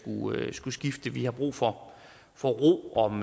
skulle skifte for vi har brug for for ro om